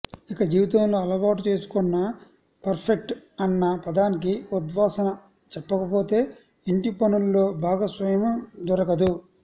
ఇక జీవితంలో అలవాటు చేసుకొన్న పర్ఫెక్ట్ అన్న పదానికి ఉద్వాసన చెప్పకపోతే ఇంటిపనుల్లో భాగస్వామ్యం దొరకదు